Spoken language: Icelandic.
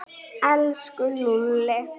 Elsku Lúlli.